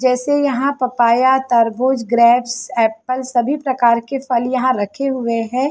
जैसे यहाँ पपाया तरबुज ग्रेप्स एप्पल सभी प्रकार के फल यहाँ रखे हुए हैं ।